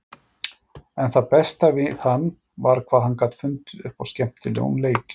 En það besta við hann var hvað hann gat fundið upp á skemmtilegum leikjum.